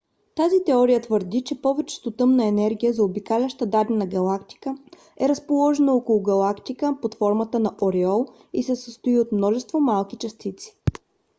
тази теория твърди че повечето тъмна материя заобикаляща дадена галактика е разположена около галактика под формата на ореол и се състои от множество малки частици